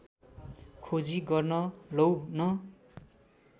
खोजी गर्न लौ न